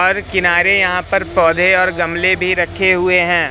हर किनारे यहां पर पौधे और गमले भी रखे हुए हैं।